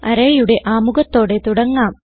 Arrayയുടെ ആമുഖത്തോടെ തുടങ്ങാം